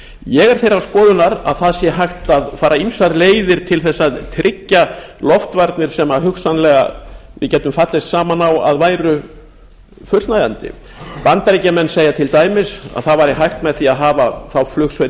ég er þeirrar skoðunar að það sé hægt að fara ýmsar leiðir til þess að tryggja loftvarnir sem hugsanlega við gætum fallist saman á að væru fullnægjandi bandaríkjamenn segja til dæmis að það væri hægt með því að hafa þá flugsveit